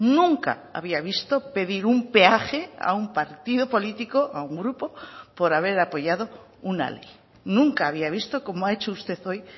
nunca había visto pedir un peaje a un partido político a un grupo por haber apoyado una ley nunca había visto como ha hecho usted hoy